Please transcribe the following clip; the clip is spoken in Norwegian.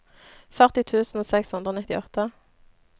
førti tusen seks hundre og nittiåtte